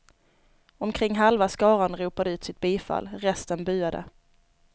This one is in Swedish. Omkring halva skaran ropade ut sitt bifall, resten buade.